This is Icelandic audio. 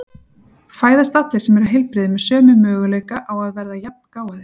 Fæðast allir sem eru heilbrigðir með sömu möguleika á að verða jafngáfaðir?